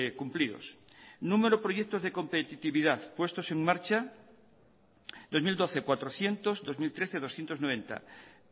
cumplidos número de proyectos de competitividad puestos en marcha en dos mil doce cuatrocientos en dos mil trece doscientos noventa